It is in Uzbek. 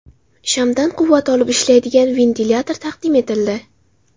Shamdan quvvat olib ishlaydigan ventilyator taqdim etildi .